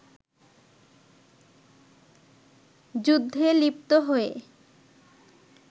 যুদ্ধে লিপ্ত হয়ে